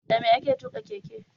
Dame ake tuƙa keke?